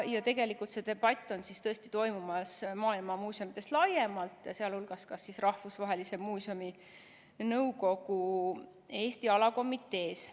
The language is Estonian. Ja tegelikult see debatt on toimumas maailma muuseumides laiemalt, sh Rahvusvahelise Muuseumide Nõukogu Eesti Rahvuskomitees.